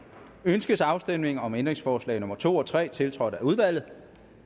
ønskes afstemning om ændringsforslag nummer to og tre tiltrådt af udvalget